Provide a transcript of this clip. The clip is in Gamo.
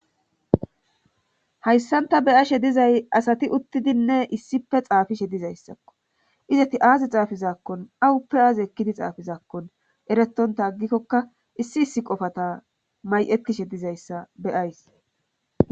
Hayssanta beyashe dizay asati uttidinne issife xaafishe dizayssakko izati aazi xaafizaakkon awuppe aaze ekkidi xaafizaakkon eretonta aggikkokka issi issi qofata may'etishe dizayssa beyays.